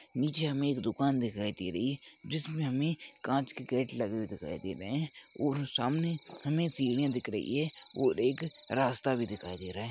पीछे हमे एक दुकान दिखाई दे रही है जिस में कांच के गेट लगे हुए दिखाई दे रहे है और सामने हमे सीढिया दिख रही है और एक रास्ता भी दिख रहा है।